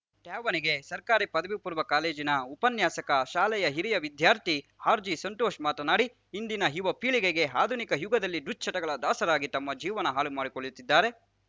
ತ್ಯಾವಣಿಗೆ ಸರ್ಕಾರಿ ಪದವಿ ಪೂರ್ವ ಕಾಲೇಜಿನ ಉಪನ್ಯಾಸಕ ಶಾಲೆಯ ಹಿರಿಯ ವಿದ್ಯಾರ್ಥಿ ಆರ್‌ಜಿಸಂತೋಷ್ ಮಾತನಾಡಿ ಇಂದಿನ ಯುವ ಪೀಳಿಗೆಗೆ ಆಧುನಿಕ ಯುಗದಲ್ಲಿ ದುಶ್ಚಟಗಳ ದಾಸರಾಗಿ ತಮ್ಮ ಜೀವನ ಹಾಳು ಮಾಡಿಕೊಳ್ಳುತ್ತಿದ್ದಾರೆ